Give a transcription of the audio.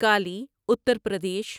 Kali Uttar Pradesh